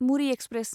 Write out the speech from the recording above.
Muri express